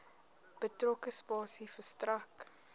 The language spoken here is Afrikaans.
betrokke spasie verstrek